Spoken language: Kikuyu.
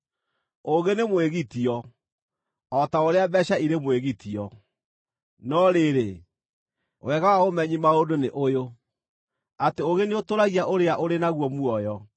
Ũũgĩ nĩ mwĩgitio, o ta ũrĩa mbeeca irĩ mwĩgitio, no rĩrĩ, wega wa ũmenyi maũndũ nĩ ũyũ: atĩ ũũgĩ nĩũtũũragia ũrĩa ũrĩ naguo muoyo.